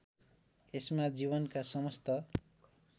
यसमा जीवनका समस्त